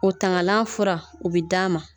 O tangalan fura o bɛ d'a ma